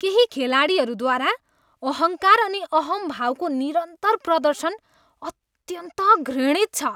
केही खेलाडीहरूद्वारा अहङ्कार अनि अहम्भावको निरन्तर प्रदर्शन अत्यन्त घृणित छ।